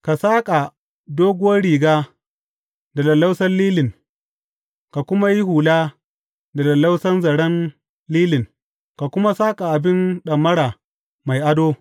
Ka saƙa doguwar riga da lallausan lilin ka kuma yi hula da lallausan zaren lilin, ka kuma saƙa abin ɗamara mai ado.